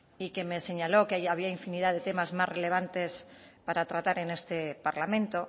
y que me señaló que había infinidad de temas más relevantes para tratar en este parlamento